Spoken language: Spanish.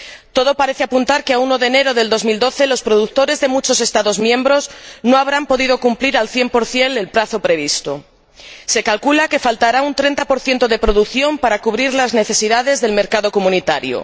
Todo parece apuntar a que, a 1 de enero de 2012, los productores de muchos Estados miembros no habrán podido cumplir al 100 el plazo previsto se calcula que faltará un 30 de producción para cubrir las necesidades del mercado comunitario